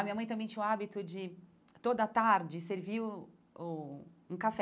A minha mãe também tinha o hábito de, toda tarde, servir o o um café.